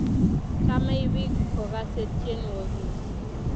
Chamei piik kokase tyenwogik